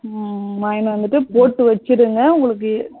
வாங்கினு வந்துட்டு போட்டு வச்சிருங்க உங்களுக்கு